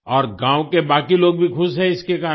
और गाँव के बाकी लोग भी खुश हैं इसके कारण